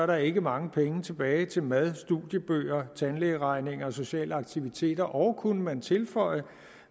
der ikke mange penge tilbage til mad studiebøger tandlægeregninger og sociale aktiviteter og kunne man tilføje